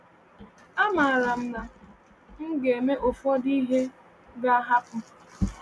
Amaara m na m ga-eme ụfọdụ ihe a ga-ahapụ.